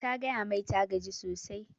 Ta gaya mai ta gaji sosai